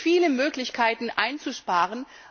Es gibt viele Möglichkeiten, einzusparen.